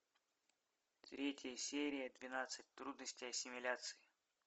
третья серия двенадцать трудностей ассимиляции